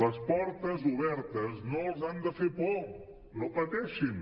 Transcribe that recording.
les portes obertes no els han de fer por no pateixin